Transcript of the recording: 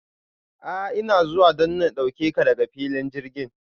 A ina zuwa don in dauke ka daga filin jirgin.